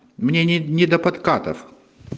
мне не не до подкатов